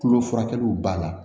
Tulo furakɛliw b'a la